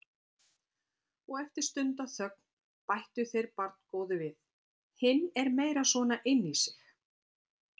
Og eftir stundarþögn bættu þeir barngóðu við: Hinn er meira svona inní sig.